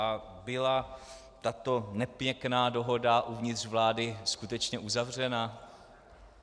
A byla tato nepěkná dohoda uvnitř vlády skutečně uzavřena?